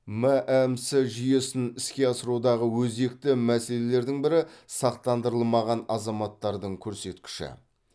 мәмс жүйесін іске асырудағы өзекті мәселелердің бірі сақтандырылмаған азаматтардың көрсеткіші